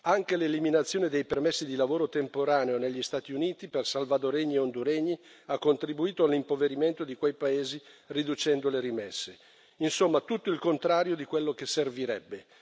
Anche l'eliminazione dei permessi di lavoro temporaneo negli Stati Uniti per salvadoregni e honduregni ha contribuito all'impoverimento di quei paesi, riducendo le rimesse. Insomma, tutto il contrario di quello che servirebbe.